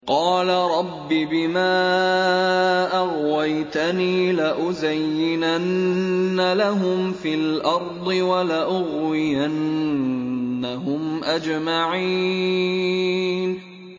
قَالَ رَبِّ بِمَا أَغْوَيْتَنِي لَأُزَيِّنَنَّ لَهُمْ فِي الْأَرْضِ وَلَأُغْوِيَنَّهُمْ أَجْمَعِينَ